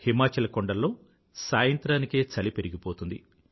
హిమాచల్ కొండల్లో సాయంత్రానికే చలి పెరిగిపోతుంది